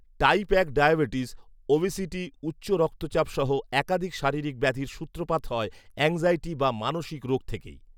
type এক diabetes, obesity, উচ্চরক্তচাপ সহ একাধিক শারীরিক ব্যাধির সূত্রপাত হয় অ্যাংক্সাইটি বা মানসিক রোগ থেকেই